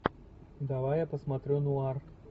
давай я посмотрю нуар